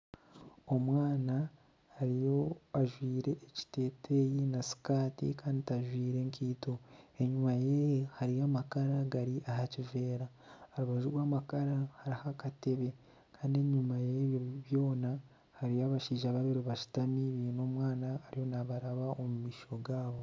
Omwana ariyo ajwaire ekiteeteeyi na sikaati kandi tajwaire nkaito enyima yeye hariyo amakara gari aha kiveera. Aha rubaju rw'amakara hariho akatebe. Kandi enyima y'ebyo byona hariyo abashaija babiri bashutami baine omwana ariyo naabaraba omu maisho gaabo.